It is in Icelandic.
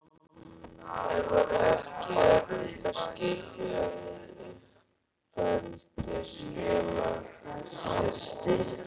En var ekki erfitt að skilja við uppeldisfélag sitt?